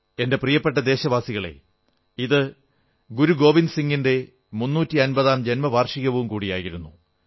എന്റെ പ്രിയപ്പെട്ട ദേശവാസികളേ ഇത് ഗുരു ഗേവിന്ദ് സിംഗിന്റെ മുന്നൂറ്റി അൻപതാം ജന്മവാർഷികവും കൂടിയായിരുന്നു